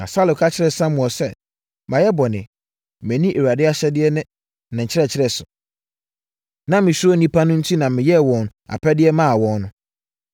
Na Saulo ka kyerɛɛ Samuel sɛ, “Mayɛ bɔne. Manni Awurade ahyɛdeɛ ne wo nkyerɛkyerɛ so. Na mesuro nnipa no enti na meyɛɛ wɔn apɛdeɛ maa wɔn no.